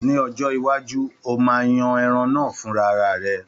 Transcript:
Ní ọjọ́ iwájú, ó máa yan ẹran náà fúnra ara rẹ̀.